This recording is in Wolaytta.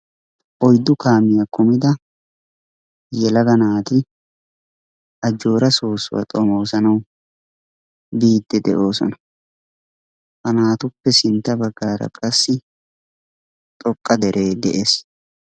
Oyddu kaamiyaa kumida yelaga naati Ajjoora Soossuwaa xomoosanawu biiddi de'oosona. Ha naatuuppe sintta bagaara qassi xoqqa deree de'ees.